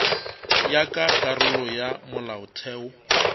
ya ka karolo ya molaotheo